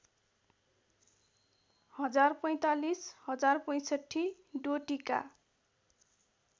१०४५ १०६५ डोटीका